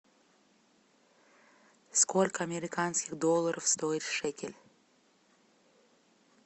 сколько американских долларов стоит шекель